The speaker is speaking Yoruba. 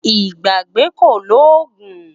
Ìgbàgbé kò lóògùn